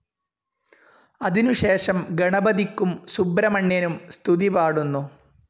അതിനു ശേഷം ഗണപതിക്കും സുബ്രഹ്മണ്യനും സ്തുതിപാടുന്നു.